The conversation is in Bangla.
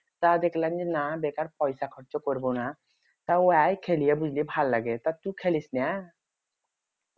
তা দেখলাম যে না বেকার পয়সা খরচ করব না তা অইয়া খেলিয়ে বুঝলি ভালো লাগে তা তু খেলিস না